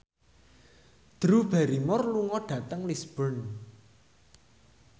Drew Barrymore lunga dhateng Lisburn